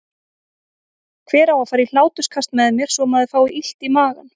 Hver á að fara í hláturskast með mér svo maður fái illt í magann?